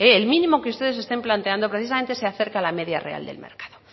el mínimo que ustedes estén planteando precisamente se acerque a la media real del mercado